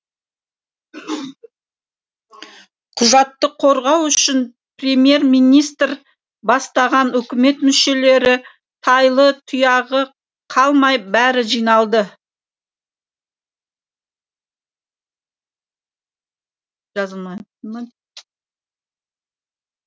құжатты қорғау үшін премьер министр бастаған үкімет мүшелері тайлы тұяғы қалмай бәрі жиналды